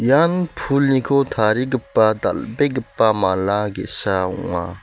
ian pulniko tarigipa dal·begipa mala ge·sa ong·a.